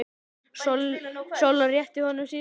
Solla rétti honum síðasta kort.